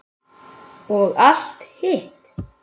Og allt hitt.